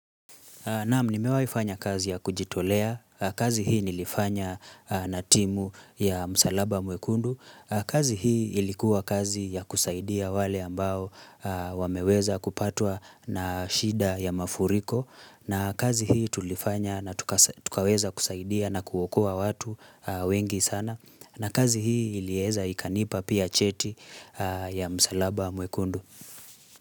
Naam nimewahifanya kazi ya kujitolea, kazi hii nilifanya na timu ya msalaba mwekundu, kazi hii ilikuwa kazi ya kusaidia wale ambao wameweza kupatwa na shida ya mafuriko, na kazi hii tulifanya na tukaweza kusaidia na kuokoa watu wengi sana, na kazi hii ilieza ikanipa pia cheti ya msalaba mwekundu.